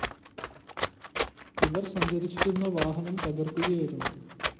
ഇവര്‍ സഞ്ചരിച്ചിരുന്ന വാഹനം തകര്‍ക്കുകയായിരുന്നു